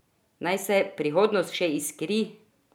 Naj se prihodnost še iskri!